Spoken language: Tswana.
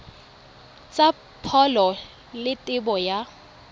tsa pholo le tebo ya